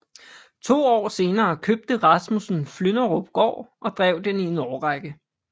To år senere købte Rasmussen Flynderupgård og drev den i en årrække